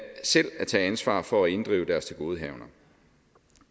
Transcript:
selv at tage ansvar for at inddrive deres tilgodehavender